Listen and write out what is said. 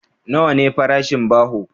Nawa ne farashin baho?